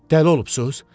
Dəli olubsusz?